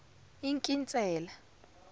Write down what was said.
inkinsela